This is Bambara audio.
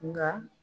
Nka